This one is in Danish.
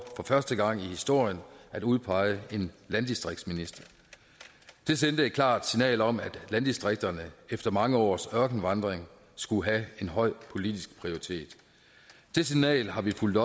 første gang i historien for at udpege en landdistriktsminister det sendte et klart signal om at landdistrikterne efter mange års ørkenvandring skulle have en høj politisk prioritet det signal har vi fulgt